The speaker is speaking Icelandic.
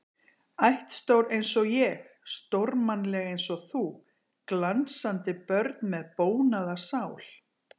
Ættstór einsog ég, stórmannleg einsog þú, glansandi börn með bónaða sál.